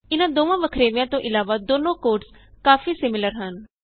ਇਹਨਾਂ ਦੋਨਾਂ ਵੱਖਰੇਵਿਆਂ ਤੋਂ ਇਲਾਵਾ ਦੋਨੋ ਕੋਡਸ ਕਾਫੀ ਸਿਮੀਲਰ ਹਨ